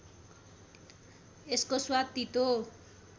यसको स्वाद तीतो